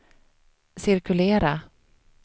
cirkulera